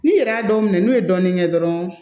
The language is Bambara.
Ni yɛrɛ y'a dɔw minɛ n'u ye dɔɔnin kɛ dɔrɔn